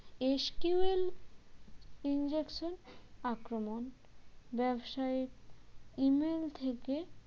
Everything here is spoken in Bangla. SQL injection আক্রমণ ব্যবসায়ীর email থেকে